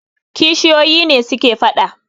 kishiyoyi ne suke fada